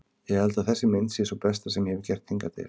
Ég held að þessi mynd sé sú besta sem ég hefi gert hingað til.